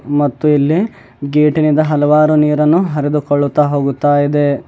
ಮತ್ತು ಇಲ್ಲಿ ಗೇಟಿನಿಂದ ಹಲವಾರು ನೀರನ್ನು ಹರಿದುಕೊಳ್ಳುತ್ತ ಹೋಗುತ್ತಾ ಇದೆ.